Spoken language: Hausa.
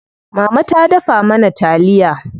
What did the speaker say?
Mama ta dafa mana taliya.